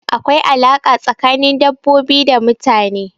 Akwai alaƙa tsakanin dabbobi da mutane.